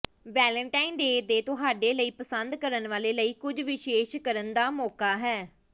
Valentine day ਤੁਹਾਡੇ ਲਈ ਪਸੰਦ ਕਰਨ ਵਾਲੇ ਲਈ ਕੁਝ ਵਿਸ਼ੇਸ਼ ਕਰਨ ਦਾ ਮੌਕਾ ਹੈ